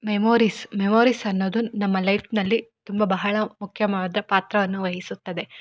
Memories memories ಅನ್ನೋದು ನಮ್ಮ ಲೈಫ್ನಲ್ಲಿ ತುಂಬಾ ಬಹಳ ಮುಖ್ಯಮಾದ ಪಾತ್ರವನ್ನು ವಹಿಸುತ್ತದೆ.